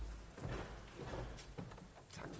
nå